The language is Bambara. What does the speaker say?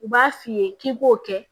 U b'a f'i ye k'i b'o kɛ